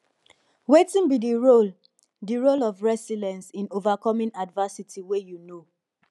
wetin be di role di role of resilience in overcoming adversity wey you know